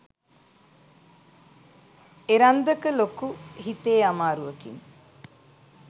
එරන්දක ලොකු හිතේ අමාරුවකින්